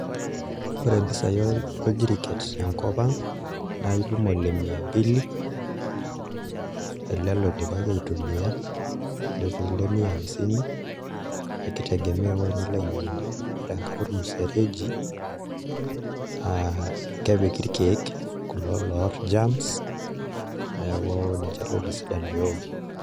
Ore imbisai oljiriket te nkop ang' naa itum ole mia mbili ele loidipaki aitumia netii ile mia hamsini ekitegemea ewuoji nilo ainyang'unye ore enkare olmusereji naa kepiki ilkeek kulo loooar germs neeku ninje too isidan pee ewoki